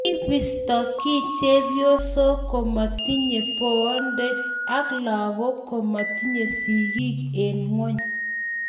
kibisto kii chepyosok ko matinyeii boonde ak lagok ko matinyei sigik eng' ng'ony